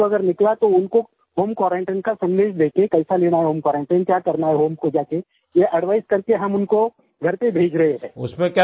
और नेगेटिव अगर निकला तो उनको होम क्वारंटाइन का संदेश देके कैसे लेना है होम क्वारंटाइन क्या करना है होम को जा के ये एडवाइस करके हम उनको घर पे भेज रहें हैं